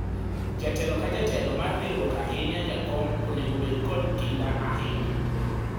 jatelo ka jetelo mar riwruok ahinya jakom onego bedo kod kinda ahinya